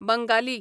Bengali